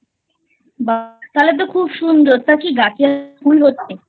বাহ্ তাহলে তো খুব সুন্দর তা কি গাছে ফুল ফোটে?